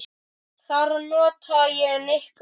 Þar nota ég nikkuna mikið.